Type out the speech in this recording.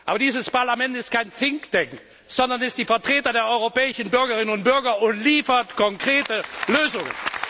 Aber dieses Parlament ist kein Thinktank, sondern es ist die Vertretung der europäischen Bürgerinnen und Bürger und liefert konkrete Lösungen!